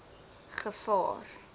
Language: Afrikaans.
gevaar